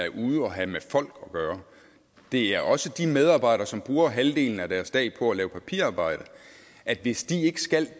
er ude at have med folk at gøre det er også de medarbejdere som bruger halvdelen af deres dag på at lave papirarbejde hvis de ikke skal